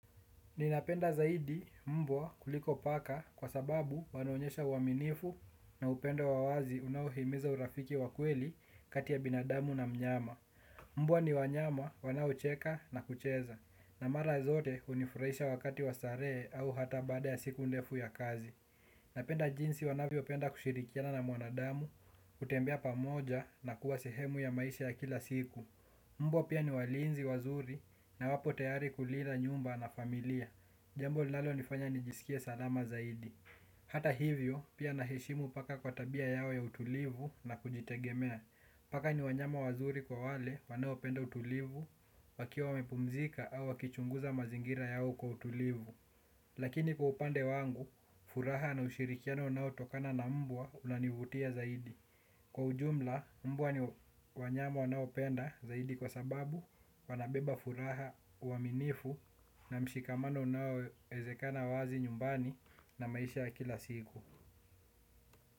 Ninapenda zaidi mbwa kuliko paka kwa sababu wanaonyesha uaminifu na upendo wa wazi unaohimiza urafiki wa kweli kati ya binadamu na mnyama. Mbwa ni wanyama wanaocheka na kucheza na mara zote hunifurahisha wakati wa starehe au hata baada ya siku ndefu ya kazi. Napenda jinsi wanavyopenda kushirikiana na mwanadamu kutembea pamoja na kuwa sehemu ya maisha ya kila siku. Mbwa pia ni walinzi wazuri na wapo tayari kulinda nyumba na familia. Jambo linalonifanya nijisikie salama zaidi. Hata hivyo, pia naheshimu paka kwa tabia yao ya utulivu na kujitegemea. Paka ni wanyama wazuri kwa wale wanaopenda utulivu, wakiwa wamepumzika au wakichunguza mazingira yao kwa utulivu. Lakini kwa upande wangu, furaha na ushirikiano unaotokana na mbwa unanivutia zaidi. Kwa ujumla, mbwa ni wanyama wanaopenda zaidi kwa sababu wanabeba furaha uaminifu na mshikamano unaoezekana wazi nyumbani na maisha ya kila siku.